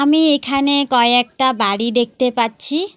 আমি এখানে কয়েকটা বাড়ি দেখতে পাচ্ছি।